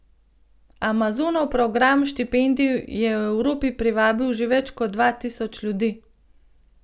Amazonov program štipendij je v Evropi privabil že več kot dva tisoč ljudi.